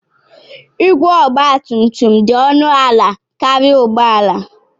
Igwe Ogba tum tum dị ọnụ ala karịa ụgbọ ala.